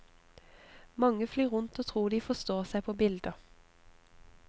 Mange flyr rundt og tror de forstår seg på bilder.